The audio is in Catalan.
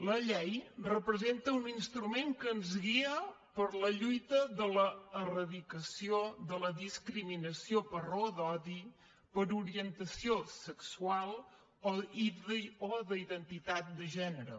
la llei representa un instrument que ens guia per la lluita de l’eradicació de la discriminació per raó d’odi per orientació sexual o d’identitat de gènere